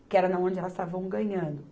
Porque era na onde elas estavam ganhando.